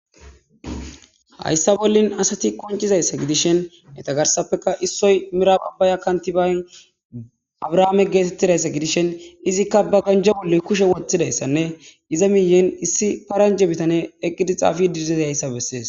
Hayssa bollin asati qonccizayssa gidishin issoy mirabe abbaya abrame geetitzayssi gidishin izika ba ganje bolla kushe wothidaysanne iza guyen issi paranjje bitaney eqqidayssa beses.